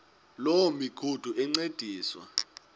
loo migudu encediswa